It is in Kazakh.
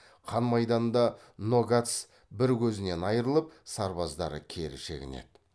қан майданда ногац бір көзінен айырылып сарбаздары кері шегінеді